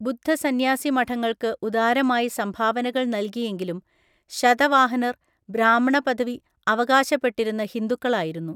ബുദ്ധസന്യാസിമഠങ്ങൾക്ക് ഉദാരമായി സംഭാവനകൾ നൽകിയെങ്കിലും ശതവാഹനർ, ബ്രാഹ്മണ പദവി അവകാശപ്പെട്ടിരുന്ന ഹിന്ദുക്കളായിരുന്നു.